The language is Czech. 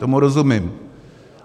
Tomu rozumím.